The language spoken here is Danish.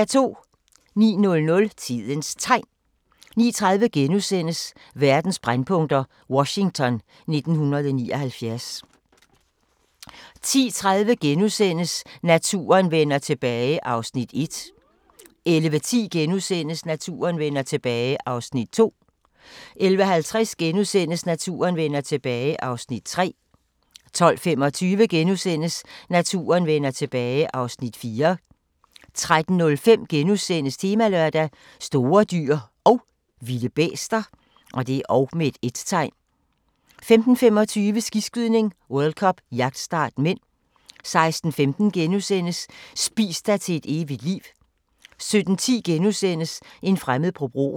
09:00: Tidens Tegn 09:30: Verdens brændpunkter: Washington 1979 * 10:30: Naturen vender tilbage (Afs. 1)* 11:10: Naturen vender tilbage (Afs. 2)* 11:50: Naturen vender tilbage (Afs. 3)* 12:25: Naturen vender tilbage (Afs. 4)* 13:05: Temalørdag: Store dyr & vilde bæster * 15:25: Skiskydning: World Cup -jagtstart (m) 16:15: Spis dig til et evigt liv * 17:10: En fremmed på broen *